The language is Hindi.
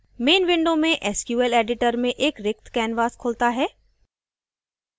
main window में sql editor में एक रिक्त canvas खुलता है